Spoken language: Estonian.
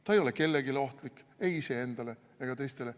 Ta ei ole kellelegi ohtlik, ei iseendale ega teistele.